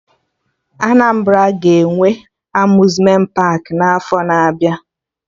Anambra ga-enwe Amuzmenti paakị n'afọ na-abịa